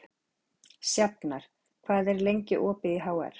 Sjafnar, hvað er lengi opið í HR?